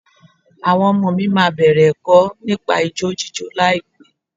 Àwọn ọmọ mi máa bẹ̀rẹ̀ ẹ̀kọ́ nípa ijó jíjó láìpẹ́.